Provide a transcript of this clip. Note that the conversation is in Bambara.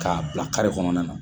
K'a bila kare kɔnɔna na.